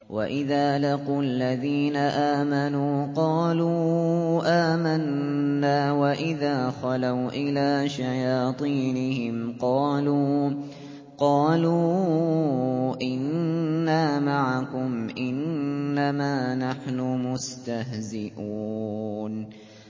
وَإِذَا لَقُوا الَّذِينَ آمَنُوا قَالُوا آمَنَّا وَإِذَا خَلَوْا إِلَىٰ شَيَاطِينِهِمْ قَالُوا إِنَّا مَعَكُمْ إِنَّمَا نَحْنُ مُسْتَهْزِئُونَ